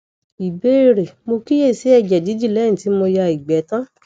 ìbéèrè mo kíyèsí ẹjẹ didi leyin ti mo ya igbe tan